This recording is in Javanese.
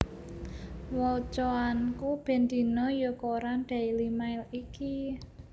Wocoanku ben dino yo koran Daily Mail iki